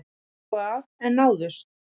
Stungu af en náðust